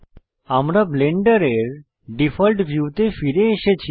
আমরা ব্লেন্ডারের ডিফল্ট ভিউতে ফিরে এসেছি